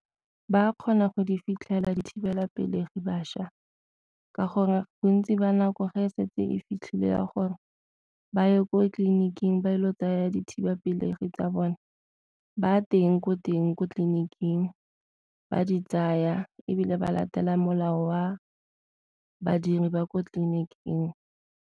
Ba kgona go di fitlhelela dithibelapelegi bašwa ka gore bontsi ba nako ga e setse e fitlhile ya gore ba ye ko tleliniking ba ile go tsaya dithibapelegi pelegi tsa bone ba teng ko teng ko tleliniking ba di tsaya ebile ba latela molao wa badiri ba ko tleliniking.